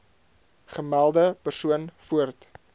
gemelde persoon voort